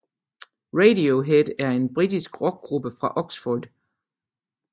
Radiohead er en britisk rockgruppe fra Oxford